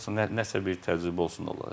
Bəli, heç nə nəsə bir təcrübə olsun onlara.